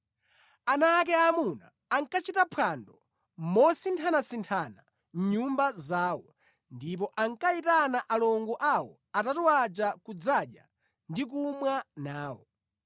Ana ake aamuna ankachita phwando mosinthanasinthana mʼnyumba zawo, ndipo ankayitana alongo awo atatu aja kudzadya ndi kumwa nawo.